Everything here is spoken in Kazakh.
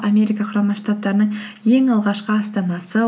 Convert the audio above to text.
америка құрама штаттарының ең алғашқы астанасы